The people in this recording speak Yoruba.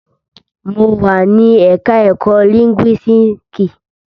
Mo wà ní ẹ̀ka ẹ̀kó lìńgúísíìkì.